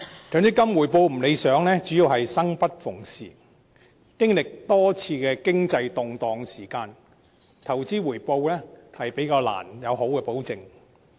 強積金回報有欠理想，主要是計劃"生不逢時"，經歷了多次經濟動盪，所以投資回報較難得到保證。